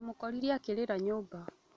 Ndĩmokorire akĩrĩra nyũmba